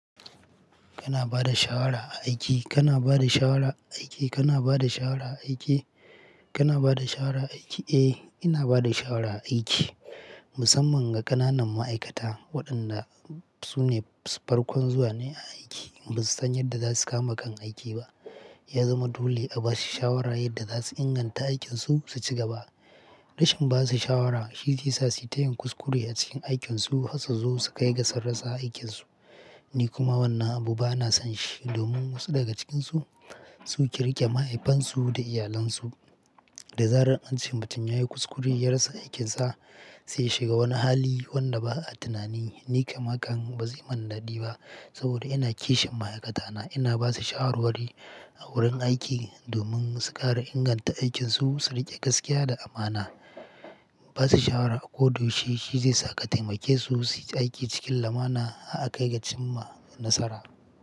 Kana ba da shawara a aiki? Kana ba da shawara a aiki? Kana ba da shawara a aiki? Kana ba da shawara a aiki? Eh, ina ba da shawara a aiki musamman ga ƙananan ma'aikata waɗanda su ne farkon zuwa ne a aiki. Basu san yadda za su kama kan aiki ba. Ya zama dole a ba su shawara yadda za su inganta aikinsu su ci gaba. Rashin ba su shawara shi zai sa su tayin kuskure a cikin aikinsu har su zo su kai ga sun rasa aikinsu. Ni kuma wannan abu bana son shi domin wasu daga cikinsu su keriƙe mahaifansu da iyalansu. Da zarar ancan mutum yayi kuskure ya rasa aikinsa, zai shiga wani hali wanda ba a tunani. Ni kam haka bazai yi man dadi ba saboda ina kishin ma'aikatana. Ina ba su shawarwari a wurin aiki domin su ƙara inganta aikinsu, su riƙe gaskiya da amana. Ba su shawara a koda yaushe shi zai sa ka taimake su su yi aiki cikin lumana har a kai ga cimma nasara.